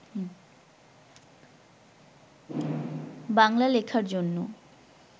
বাংলা লেখার জন্য